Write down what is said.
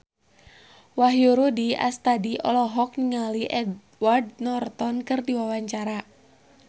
Wahyu Rudi Astadi olohok ningali Edward Norton keur diwawancara